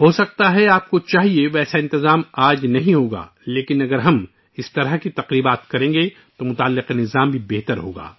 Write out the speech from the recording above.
ہے ، جس طرح کا نظام آپ چاہتے ہیں ، آج وہ نہ ہو لیکن اگر ہم اس قسم کی تقریبات منعقد کریں گے تو نظام بھی ترقی کرے گا